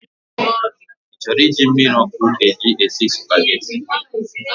You want to use this hot water to cook Spaghetti?